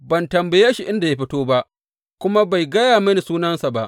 Ban tambaye shi inda ya fito ba, kuma bai gaya mini sunansa ba.